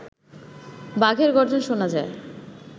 বাঘের গর্জন শোনা যায়